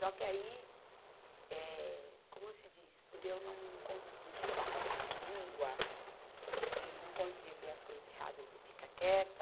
Só que aí, eh, como se diz, por eu não conseguir ter papas na língua e não conseguir ver as coisas erradas e ficar quieta,